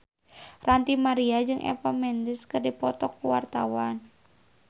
Ranty Maria jeung Eva Mendes keur dipoto ku wartawan